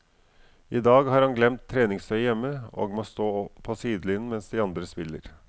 I dag har han glemt treningstøyet hjemme og må stå på sidelinjen mens de andre spiller.